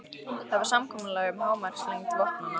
Það var samkomulag um hámarkslengd vopnanna.